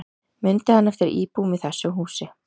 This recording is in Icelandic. Mundi hann eftir íbúum í þessu húsi